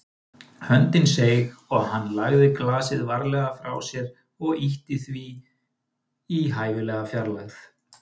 Höndin seig og hann lagði glasið varlega frá sér og ýtti því í hæfilega fjarlægð.